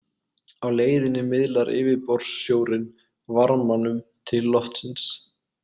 Á leiðinni miðlar yfirborðssjórinn varmanum til loftsins.